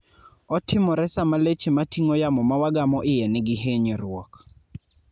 otimore sama leche mating'o yamo mawagamo iye niki hinyruok